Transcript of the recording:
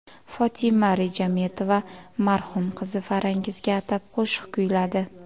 Fotima Rejametova marhum qizi Farangizga atab qo‘shiq kuyladi .